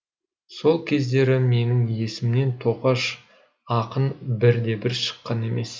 сол кездері менің есімнен тоқаш ақын бірде бір шыққан емес